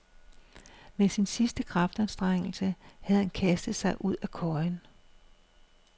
Med en sidste kraftanstrengelse havde han kastet sig ud af køjen.